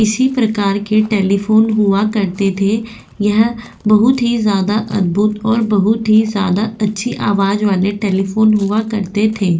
इसी प्रकार के टेलीफोन हुआ करते थे यह बहुत ही ज्यादा अद्भुत और बहुत ही ज्यादा अच्छी आवाज वाले टेलीफोन हुआ करते थे।